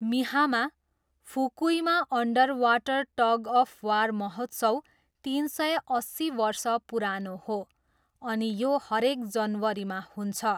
मिहामा, फुकुईमा underwater tug of war महोत्सव तिन सय अस्सी वर्ष पुरानो हो, अनि यो हरेक जनवरीमा हुन्छ।